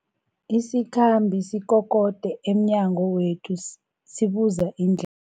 Isikhambi sikokode emnyango wethu sibuza indle